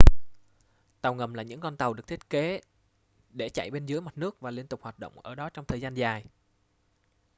tàu ngầm là những con tàu được thiết kế để chạy bên dưới mặt nước và liên tục hoạt động ở đó trong thời gian dài